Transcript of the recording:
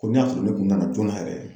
Ko n'a y'a sɔrɔ ne kun nana joona yɛrɛ